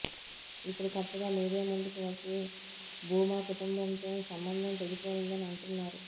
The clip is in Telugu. ఇప్పుడు కొత్తగా మీడియా ముందుకు వచ్చి భూమా కుటుంబంతో సంబంధం తెగిపోయిందని అంటున్నారు